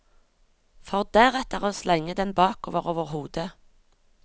For deretter å slenge den bakover over hodet.